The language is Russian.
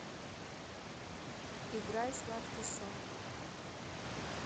играй сладкий сон